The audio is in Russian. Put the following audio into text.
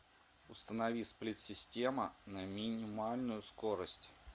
установи сплит система на минимальную скорость